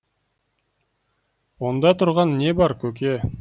онда тұрған не бар көке